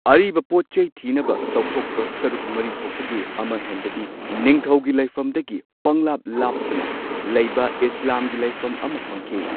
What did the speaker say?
ꯑꯔꯤꯕ ꯄꯣꯠꯆꯩ ꯊꯤꯅꯕ ꯇꯧꯊꯣꯛꯄ ꯁꯔꯨꯛ ꯃꯔꯤ ꯊꯣꯛꯄꯒꯤ ꯑꯃ ꯍꯦꯟꯕꯗꯤ ꯅꯤꯡꯊꯧꯒꯤ ꯂꯩꯐꯝ ꯗꯒꯤ ꯄꯡꯂꯥꯞ ꯂꯥꯞꯇꯅ ꯂꯩꯕ ꯏꯁꯂꯥꯝꯒꯤ ꯂꯩꯐꯝ ꯑꯃ ꯐꯪꯈꯤ꯫